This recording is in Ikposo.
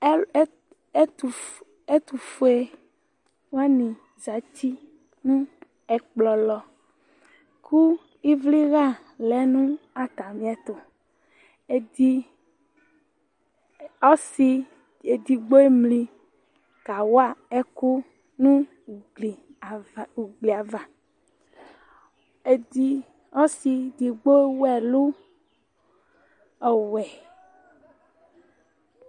Ɔ e ɛtʋf ɛtʋfuewanɩ zati nʋ ɛkplɔɛ lɔ ,kʋ ɩvlɩɣa lɛ nʋ atamɩ ɛtʋ Edi ɔsɩ edigbo emli kawa ɛkʋ nʋ ugli ava Edi ɔsɩ edigbo ewu ɛlʋ ɔwɛ